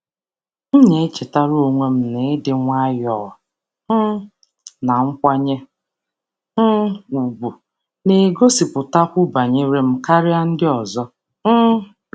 M na-echetara onwe m na ịdị nwayọọ um na nkwanye um ùgwù na-egosipụtakwu banyere m karịa ndị ọzọ. um